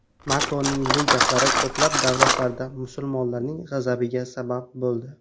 Makronning bu gaplari ko‘plab davlatlarda musulmonlarning g‘azabiga sabab bo‘ldi.